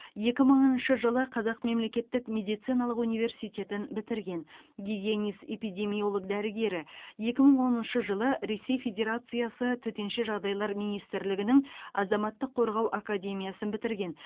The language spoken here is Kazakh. екі мыңыншы жылы қазақ мемлекеттік медициналық университетін бітірген гигиенист эпидемиолог дәрігері екі мың оныншы жылы ресей федерациясы төтенше жағдайлар министрлігінің азаматтық қорғау академиясын бітірген